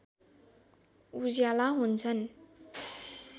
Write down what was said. उज्याला हुन्छन्